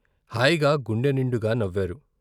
హాయిగా గుండె నిండుగా నవ్వారు.